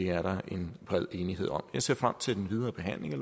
er en bred enighed om jeg ser frem til den videre behandling af